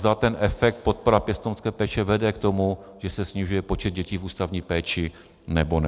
Zda ten efekt, podpora pěstounské péče vede k tomu, že se snižuje počet dětí v ústavní péči, nebo ne.